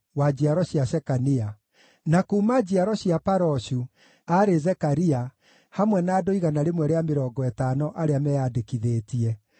wa njiaro cia Shekania; na kuuma njiaro cia Paroshu, aarĩ Zekaria, hamwe na andũ 150 arĩa meyandĩkithĩtie;